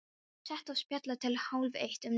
Setið og spjallað til hálf-eitt um nóttina.